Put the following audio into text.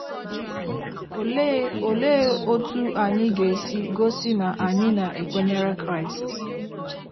Olee Olee otú anyị ga - esi gosị na anyị na - ekwenyere Kraịst?